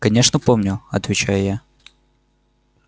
конечно помню отвечаю я